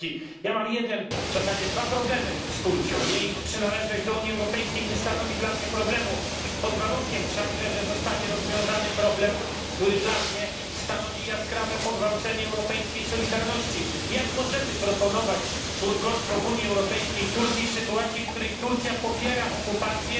Pani Przewodnicząca! Mam jeden, a w zasadzie dwa problemy z Turcją. Jej przynależność do Unii Europejskiej nie stanowi dla mnie problemu pod warunkiem wszak, że zostanie rozwiązany problem, który dla mnie stanowi jaskrawe pogwałcenie europejskiej solidarności jak możemy proponować członkostwo w Unii Europejskiej Turcji w sytuacji, kiedy popiera ona okupację